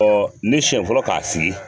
Ɔ ne siɲɛ fɔlɔ k'a sigi.